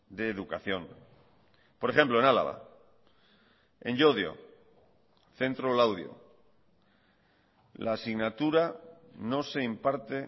de educación por ejemplo en álava en llodio centro laudio la asignatura no se imparte